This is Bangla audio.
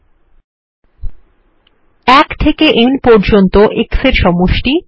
১ থেকে n পর্যন্ত x এর সমষ্টি